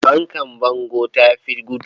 Fankar bango ta fi gudu.